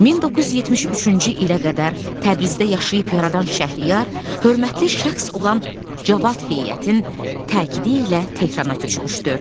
1973-cü ilə qədər Təbrizdə yaşayıb yaradan Şəhriyar hörmətli şəxs olan Cavad Heyətin təkidi ilə Tehrana köçmüşdü.